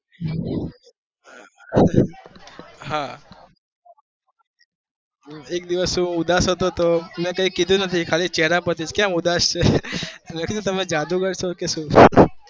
હા હું એક દિવસ ઉદાસ હતો તો મેં કઈ કીધું નથી ખાલી ચેહરા પરથી કેમ ઉદાસ છે, તો મેં કીધું તમે જાદુગર છો કે શું?